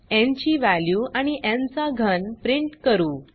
न् ची वॅल्यू आणि न् चा घन प्रिंट करू